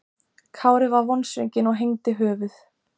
Kári var vonsvikinn og hengdi höfuð.